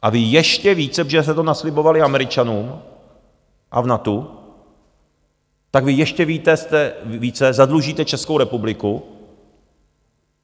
A vy ještě více, protože jste to naslibovali Američanům a v NATO, tak vy ještě více zadlužíte Českou republiku.